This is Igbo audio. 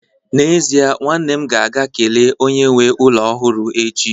n'ezie, nwanne m ga-aga kelee onye nwe ụlọ ọhụrụ echi